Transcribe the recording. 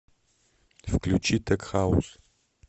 включи тек хаус